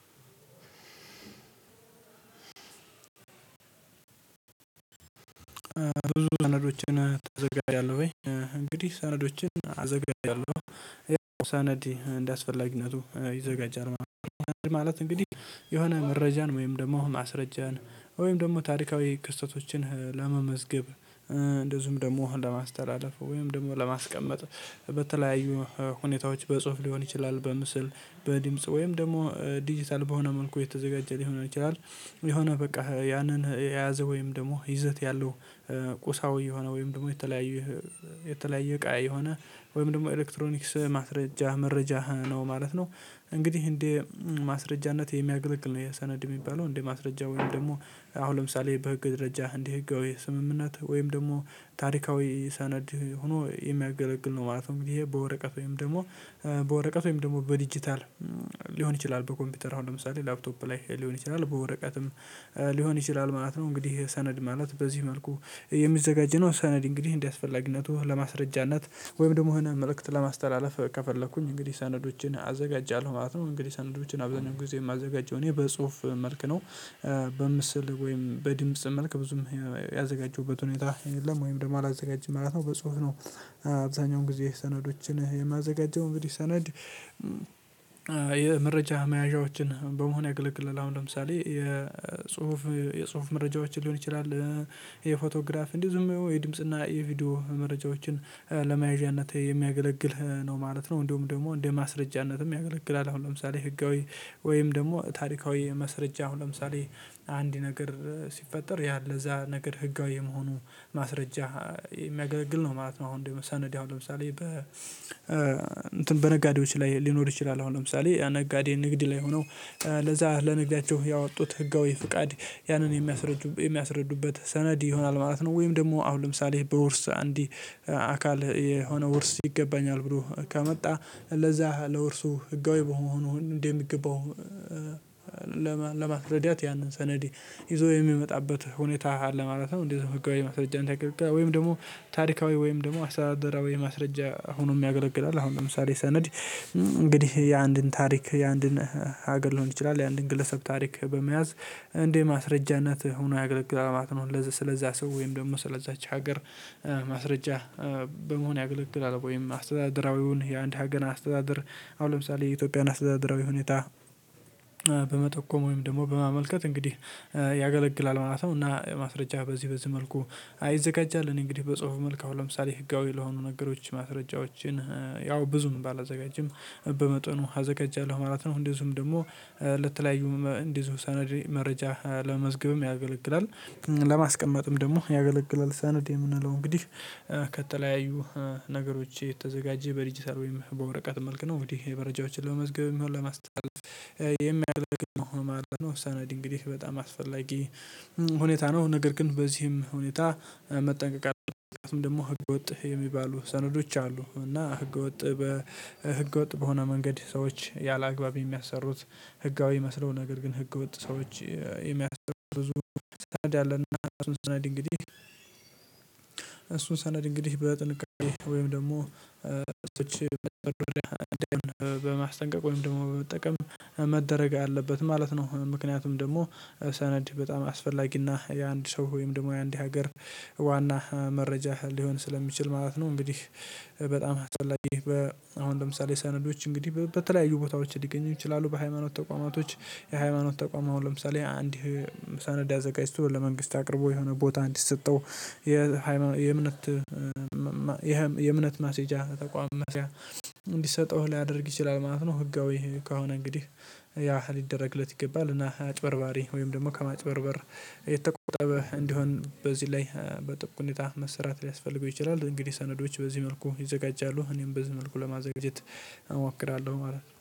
አዎ ብዙ ሰነዶችን ታዘጋጃለህ ወይ? እንግዲህ ሰነዶችን አዘጋጃለሁ ሰነድ እንደሚያስፈልግነቱ ይዘጋጃል። ማለት እንግዲህ የሆነ መረጃን ወይም ደግሞ ማስረጃን ወይም ደግሞ ታሪካዊ ክስተቶችን ለመመዝገብ እንደዚሁም ደግሞ ለማስተላለፍ ወይም ደግሞ ለማስቀመጥ በተለያዩ ሁኔታዎች በጽሁፍ ሊሆን ይችላል በምስል በድምጽ ወይም ደግሞ ዲጂታል በሆነ መልኩ የተዘጋጀ ሊሆን ይችላል። የሆነ በቃ ያንን የያዘ ወይም ደግሞ ይዘት ያለው ቁሳዊ የሆነ ወይም ደግሞ የተለያየ የተለያየ እቃ የሆነ ወይም ደግሞ ኤሌክትሮኒክስ ማስረጃ መረጃ ነው ማለት ነው። እንግዲህ እንዴ ማስረጃነት የሚያገለግል ነው። የሰነድ የሚባለው እንዴ ማስረጃ ወይም ደግሞ አሁን ለምሳሌ በህግ ደረጃ እንዲህ ህጋዊ ስምምነት ወይም ደግሞ ታሪካዊ ሰነድ ሆኖ የሚያገለግል ነው ማለት ነው። ይሄ በወረቀት ወይም ደግሞ በወረቀት ወይም ደግሞ በዲጂታል ሊሆን ይችላል በኮምፒውተር አሁን ለምሳሌ ላፕቶፕ ላይ ሊሆን ይችላል በወረቀትም ሊሆን ይችላል ማለት ነው። እንግዲህ ሰነድ ማለት በዚህ መልኩ የሚዘጋጀው ሰነድ እንግዲህ እንደሚያስፈልግነቱ ለማስረጃነት ወይም ደግሞ የመልእክት ለማስተላለፍ ከፈለኩኝ እንግዲህ ሰነዶችን አዘጋጃለሁ ማለት ነው። እንግዲህ ሰንዶችን አብዛኛው ጊዜ የማዘጋጀው እኔ በጽሁፍ መልክ ነው። በምስል ወይም በድምጽ መልክ ብዙም ያዘጋጀሁበት ሁኔታ የለም ወይም ደግሞ አላዘጋጅም ማለት ነው። በጽሁፍ ነው። አብዛኛውን ጊዜ ሰነዶችን የማዘጋጀው እንግዲህ ሰነድ የመረጃ መያዣዎችን በመሆን ያገለግልል አሁን ለምሳሌ የጽሁፍ የጽሁፍ መረጃዎችን ሊሆን ይችላል። የፎቶግራፍ ዝም የድምጽና የቪዲዮ መረጃዎችን ለመያዣነት የሚያገለግልህ ነው ማለት ነው። እንደውም ደግሞ እንደ ማስረጃነትም ያገለግላል። አሁን ለምሳሌ ህጋዊ ወይም ደግሞ ታሪካዊ መስረጃ አሁን ለምሳሌ አንድ ነገር ሲፈጠር ያለ እዛ ነገር ህጋዊ የመሆኑ ማስረጃ የሚያገለግል ነው ማለት ነው። አሁን ደግሞ ሰነድ ያው ለምሳሌ በ እንትን በነጋዴዎች ላይ ሊኖር ይችላል አሁን ለምሳሌ ያ ነጋዴ ንግድ ላይ ሆነው ለዛ ለነጋያቸው ያወጡት ህጋዊ ፍቃድ ያንን የሚያስረዱ የሚያስረዱበት ሰነድ ይሆናል ማለት ነው። ወይም ደግሞ አሁን ለምሳሌ በውርስ አንዲ አካል የሆነ ውርስ ይገባኛል ብሎ ከመጣ ለዛ ለውርሱ ህጋዊ በመሆኑ እንዴ የሚገባው ለማስረዳት ያንን ሰነዴ ይዞ የሚመጣበት ሁኔታ ለማለት ነው። እንደዚህ ህጋዊ ማስረጃን ወይም ደግሞ ታሪካዊ ወይም ደግሞ አስተዳደራ ወይም ማስረጃ ሆኖ የሚያገለግል አለ። አሁን ለምሳሌ ሰነድ እንግዲህ የአንድን ታሪክ የአንድን ሀገር ሊሆን ይችላል የአንድን ግለሰብ ታሪክ በመያዝ እንደ ማስረጃነት ሆኖ ያገለግላል ማለት ነው። ለዛ ስለዛ ሰው ወይም ደግሞ ስለዛች ሀገር ማስረጃ በመሆን ያገለግላል። ወይም አስተዳደራዊውን የአንድ ሀገን አስተዳደር አሁን ለምሳሌ የኢትዮጵያን አስተዳደራዊ ሁኔታ በመጠቆም ወይም ደግሞ በማመልከት እንግዲህ ያገለግላል ማለት ነው። እና ማስረጃ በዚህ በዚህ መልኩ አይዘጋጃል እኔ እንግዲህ በጽሁፉ መልክ ለምሳሌ ህጋዊ ለሆኑ ነገሮች ማስረጃዎችን ያው ብዙም ባላዘጋጅም በመጠኑ አዘጋጃለሁ ማለት ነው። እንዲህ ዝም ደግሞ ለተለያዩ እንዲህ ሰነዴ መረጃ ለመዝገብም ያገለግላል ለማስቀመጥም ደግሞ ያገለገለ ሰነድ የምንለው እንግዲህ ከተለያዩ ነገሮች የተዘጋጀ በዲጂታል ወይም በወረቀት መልክ ነው። እንግዲህ መረጃዎችን ለመመዝገብ የሚሆን ለማስተላለፍ የሚያገለግል ነው ማለት ነው። ሰነድ እንግዲህ በጣም አስፈላጊ ሁኔታ ነው ነገር ግን በዚህም ሁኔታ መጠንቀቅ አለብን። ምክንያቱም ደግሞ ህገወጥህ የሚባሉ ሰነዶች አሉ። እና ህገወጥ በህገወጥ በሆነ መንገድ ሰዎች ያላግባብ የሚያሰሩት ህጋዊ መስለው ነገር ግን ህገወጥ ሰዎች የሚያሰሩ ብዙ ሰነድ ያለና እሱን ሰነድ እንግዲህ እሱን ሰነድ እንግዲህ በጥንቃቄ ወይም ደግሞ እሱን በጥንቃቄ በማስጠንቀቅ ወይም ደግሞ በመጠቀም መደረግ አለበት ማለት ነው። ምክንያቱም ደግሞ ሰነድ በጣም አስፈላጊና የአንድ ሰው ወይም ደግሞ የአንድ ሀገር ዋና መረጃ ሊሆን ስለሚችል ማለት ነው። እንግዲህ በጣም አስፈላጊ አሁን ለምሳሌ ሰነዶች እንግዲህ በተለያዩ ቦታዎች ሊገኙ ይችላሉ። በሃይማኖት ተቋማቶች የሃይማኖት ተቋማው ለምሳሌ አንድ ሰነድ አዘጋጅቶ ለመንግስት አቅርቦ የሆነ ቦታ እንዲሰጠው የእምነት ማሴጃ ተቋም መስሪያ እንዲሰጠው ሊያደርግ ይችላል ማለት ነው። ህጋዊ ከሆነ እንግዲህ ያ ሊደረግለት ይገባል። እና አጭበርባሪ ወይም ደግሞ ከማጭበርበር የተቆጠበ እንዲሆን በዚህ ላይ በጥብቅ ሁኔታ መሰራት ሊያስፈልገው ይችላል። እንግዲህ ሰነዶች በዚህ መልኩ ይዘጋጃሉ እኔም በዚህ መልኩ ለማዘጋጀት እሞክራለሁ ማለት ነው